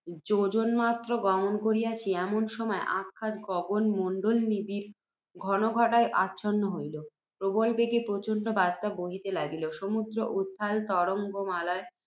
যোজনমাত্র গমন করিয়াছি, এমন সময়ে অকস্মাৎ গগনমণ্ডল নিবিড় ঘনঘটায় আচ্ছন্ন হইল, প্রবল বেগে প্রচণ্ড বাত্যা বহিতে লাগিল, সমুদ্র উত্তাল তরঙ্গমালায়